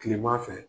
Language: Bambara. Kileman fɛ